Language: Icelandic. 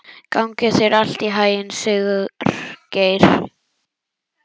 Gangi þér allt í haginn, Sigurgeir.